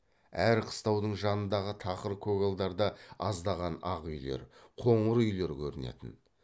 әр қыстаудың жанындағы тақыр көгалдарда аздаған ақ үйлер қоңыр үйлер көрінетін